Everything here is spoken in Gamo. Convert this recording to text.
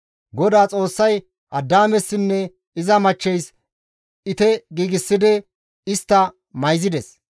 GODAA Xoossay Addaamessinne iza machcheys ite giigsidi istta mayzides.